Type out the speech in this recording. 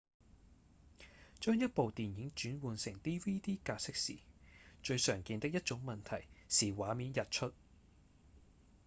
將一部電影轉換成 dvd 格式時最常見的一種問題是畫面溢出